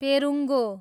पेरुङ्गो